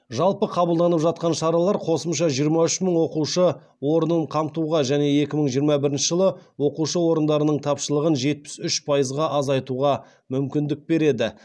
жалпы қабылданып жатқан шаралар қосымша жиырма үш мың оқушы орнын қамтуға және екі мың жиырма бірінші жылы оқушы орындарының тапшылығын жетпіс үш пайызға азайтуға мүмкіндік береді